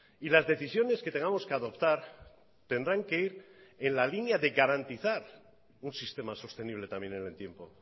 y las decisiones que tengamos que adoptar tendrán que ir en la línea de garantizar un sistema sostenible también en el tiempo